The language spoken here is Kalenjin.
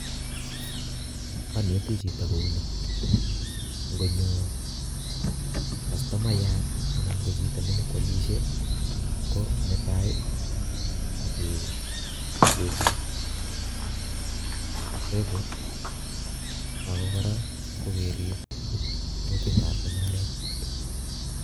Aneti chito kouni ingonyoo kastomayaat anan KO chito nenyokwolisie, ko netai keerib kutitab mungaret